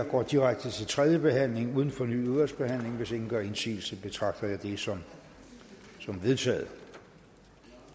går direkte til tredje behandling uden fornyet udvalgsbehandling hvis ingen gør indsigelse betragter jeg det som vedtaget